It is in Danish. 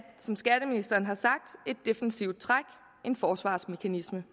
som skatteministeren har sagt et defensivt træk en forsvarsmekanisme